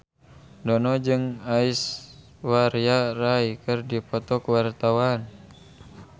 Dono jeung Aishwarya Rai keur dipoto ku wartawan